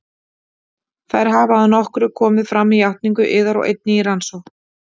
Þær hafa að nokkru komið fram með játningu yðar og einnig í rannsókn